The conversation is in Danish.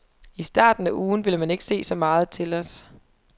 I starten af ugen vil man ikke se så meget til os.